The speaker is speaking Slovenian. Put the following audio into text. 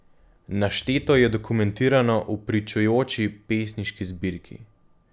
Našteto je dokumentirano v pričujoči pesniški zbirki.